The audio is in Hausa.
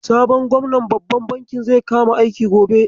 Sabon gwamnan babban bankin zai kama aiki gobe.